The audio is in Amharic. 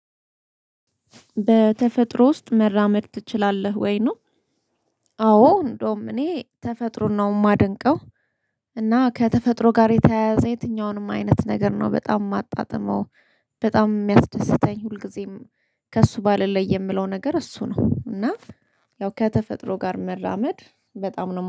በተፈጥሮ ውስጥ መራመድ ትችላለህ ወይ ነው? አዎ እንደውም እኔ ተፈጥሮን ነው የማደንቀው። እና ከተፈጥሮ ጋር የተያያዘ የትኛውንም አይነት ነገር ነው በጣም የማጣጥመው። በጣም የሚያስደስተኝ ሁልጊዜም ከእሱ ባልለይ የምለው ነገር እሱ ነው እና። ያው ከተፈጥሮ ጋር መራመድ በጣም ነው